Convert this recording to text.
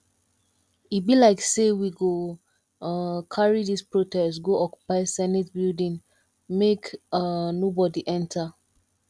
e be like sey we go um carry dis protest go occupy senate building make um nobodi enta